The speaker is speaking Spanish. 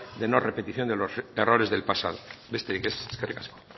de no repetición de los errores del pasado besterik ez eskerrik asko